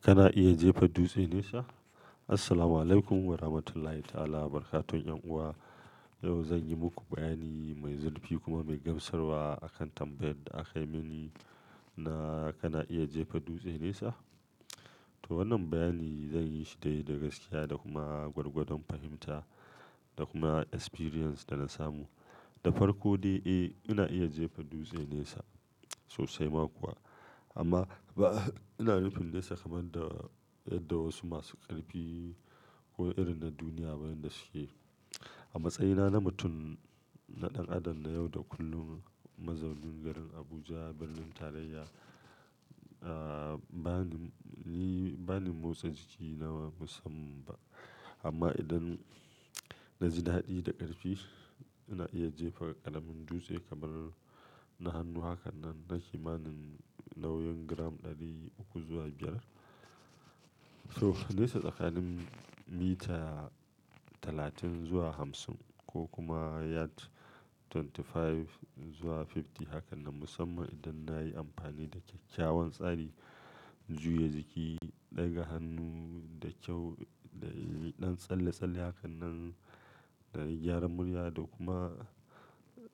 Kana iya jefa dutse nesa? Assalamualaikum warahmatullahi ta'ala wabarakatuh. Yan uwa, yau zan yi muku bayani mai zurfi kuma mai gamsarwa akan tambayar da aka yi mini na kana iya jefa dutse nesa. To wannan bayani zan yi shi dai da gaskiya da kuma gwargwadon fahimta da kuma experience da na samu. Da farko dai, eh ina iya jefa dutse nesa sosai ma kuwa. Amma ba ina yin nesa kamar yadda wasu masu ƙarfi ko irin na duniya bayin da suke. A matsayina na mutum na ɗan adam na yau da kullum, mazaunin garin Abuja, birnin tarayya, a, bani, ba ni motsa jiki nawa musamman ba. Amma idan na ji daɗi da ƙarfi, ina iya jefa ƙaramin dutse kamar na hannu. Haka nan, na kimanin nauyin gram ɗari uku zuwa biyar. To nesa tsakanin mita talatin zuwa hamsin ko kuma yard twenty-five zuwa fifty. Haka nan musamman idan na yi amfani da kyakkyawan tsari juya jiki, ɗaga hannu da kyau, da ɗan tsalle-tsalle. Haka nan, da gyara murya da kuma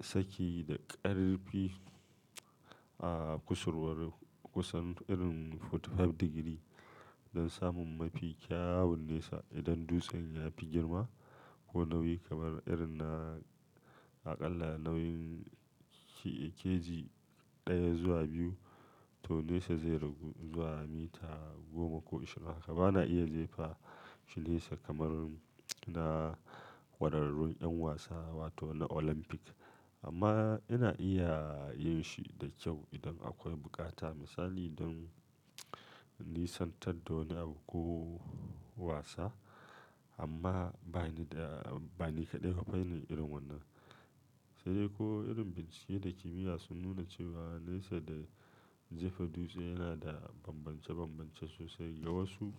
saki da ƙarfi a kusurwar kusan irin forty-five degree don samun mafi kyawun nesa. Idan dutsen ya fi girma ko nauyi kamar irin na aƙalla nauyin kg ɗaya zuwa biyu, to nesa zai ragu zuwa mita goma ko ashirin. Haka ba na iya jefa shi nesa kamar na ƙwararrun 'yan wasa wato na Olympic. Amma ina iya yin shi da kyau idan akwai bukata. Misali don nisantar da wani abu ko wasa. Amma ba ni da, ba ni kaɗai a fanni irin wannan. Sai dai ko irin bincike da kimiyya sun nuna cewa nesa da jefa dutse yana da bambance-bambance sosai ga wasu.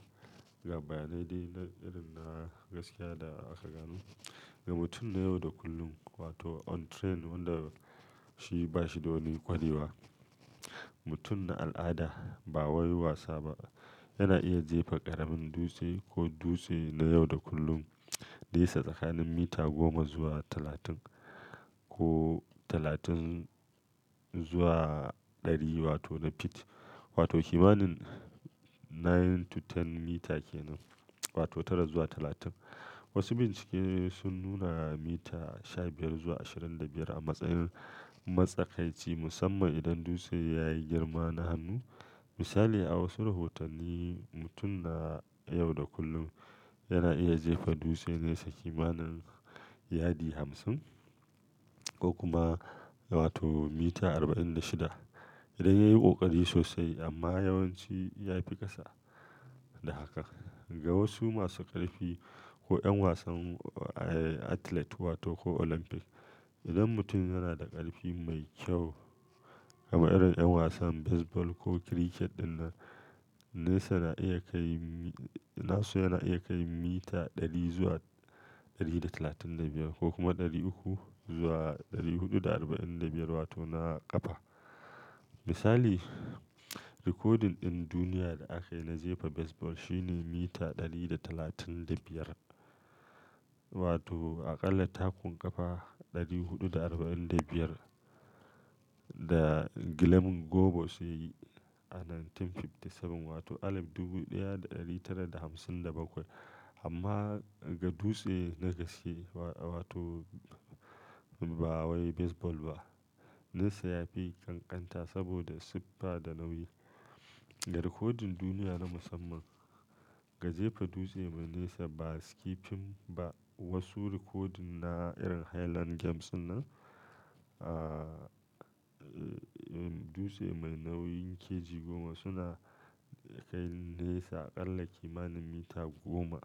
Ga bayanai dai na irin na gaskiya da aka gano. Ga mutum na yau da kullum wato untrained wanda shi ba shi da wani ƙwarewa, mutum na al'ada ba wai wasa ba yana iya jefa ƙaramin dutse ko dutse na yau da kullum nesa tsakanin mita goma zuwa talatin ko talatin zuwa ɗari wato na feet wato kimanin nine to ten mita ke nan wato tara zuwa talatin. Wasu bincike sun nuna mita sha biyar zuwa ashirin da biyar a matsayin matsakaici musamman idan dutsen ya yi girma na hannu. Misali a wasu rahotanni, mutum na yau da kullum yana iya jefa dutse nesa kimanin yadi hamsin ko kuma wato mita arba'in da shida idan ya yi ƙoƙari sosai amma yawanci ya fi ƙasa da haka. Ga wasu masu ƙarfi ko 'yan wasan athlete wato ko Olympic, idan mutum yana da ƙarfi mai kyau kamar irin 'yan wasan baseball ko cricket ɗin nan, nesa na iya kai, na su yana iya kai mita ɗari zuwa ɗari da talatin da biyar ko kuma ɗari uku zuwa ɗari huɗu da arba'in da biyar wato na ƙafa. Misali, rikodin ɗin duniya da aka yi na jefa baseball shine mita ɗari da talatin da biyar wato aƙalla takun ƙafa ɗari huɗu da arba'in da biyar da Glennon Hobos ya yi a dubu ɗaya da ɗari tara da hamsin da bakwai wato alif dubu ɗaya da ɗari tara da hamsin da bakwai. Amma ga dutse na gaske wato ba wai baseball ba, nesa ya fi ƙanƙanta saboda siffa da nauyi. Ga rikodin duniya na musamman ga jefa dutse mai nesa ba skipping ba, wasu rikodin na irin Highland Games ɗin nan, a, dutse mai nauyin kg goma suna kai nesa aƙalla kimanin mita goma.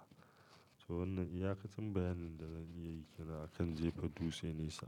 To wannan iyaƙacin bayanin da zan iya yi ke nan akan jefa dutse nesa.